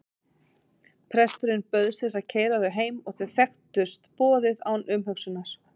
Presturinn bauðst til að keyra þau heim og þau þekktust boðið án umhugsunar.